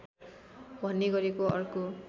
भन्ने गरेको अर्को